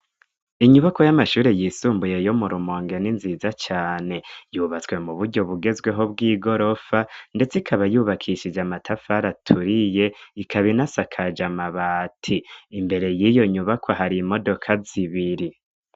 Inyubakwa y'amashure yisumbuye yo mu Rumonge n'inziza cane. Yubatswe mu buryo bugezweho bw'igorofa, ndetse ikaba yubakishije amatafari aturiye ikaba inasakaje amabati. Imbere y'iyo nyubakwa hari imodoka zibiri.